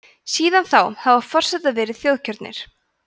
síðan þá hafa forsetar verið þjóðkjörnir